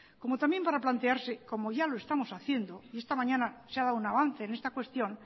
como también para plantearse como ya lo estamos haciendo y esta mañana se ha dado un avance en esta cuestión